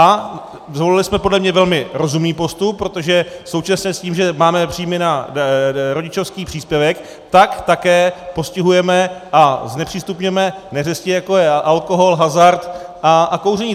A zvolili jsme podle mě velmi rozumný postup, protože současně s tím, že máme příjmy na rodičovský příspěvek, tak také postihujeme a znepřístupňujeme neřesti, jako je alkohol, hazard a kouření.